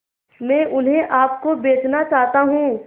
मैं उन्हें आप को बेचना चाहता हूं